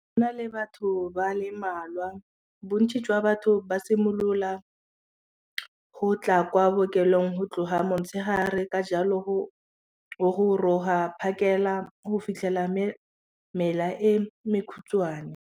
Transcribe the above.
na le batho ba le mmalwa bontsi jwa batho ba simolola go tla kwa bookelong go tloga motshegare ka jalo go goroga phakela go fitlhela mela e mekhutshwane.